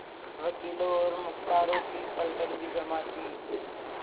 वकीलों और मुख्तारों की पलटन भी जमा थी